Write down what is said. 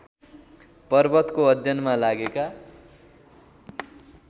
पर्वतको अध्ययनमा लागेका